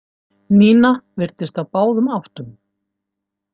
Nína virtist á báðum áttum.